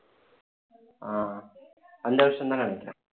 ஆஹ் அந்த வருஷம்தான் நினைக்கிறேன்